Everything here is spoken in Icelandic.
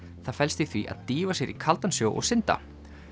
það felst í því að dýfa sér í kaldan sjó og synda